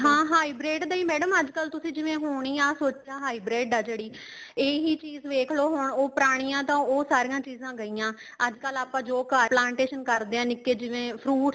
ਹਾਂ high braid ਦਾ ਹੀ madam ਅੱਜਕਲ ਤੁਸੀਂ ਜਿਵੇਂ ਹੋਣੀ ਆ ਸੋਚਾ high braid ਆ ਜਿਹੜੀ ਇਹੀ ਚੀਜ਼ ਵੇਖ੍ਲੋ ਹੁਣ ਪੁਰਾਣੀਆਂ ਤਾਂ ਉਹ ਸਾਰੀਆਂ ਚੀਜ਼ਾਂ ਗਈਆਂ ਅੱਜਕਲ ਆਪਾਂ ਜੋ plantation ਕਰਦੇ ਹਾਂ ਨਿੱਕੇ ਜਿਵੇਂ fruits